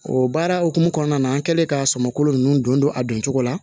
O baara hukumu kɔnɔna na an kɛlen ka sɔmɔkolo ninnu don a don cogo la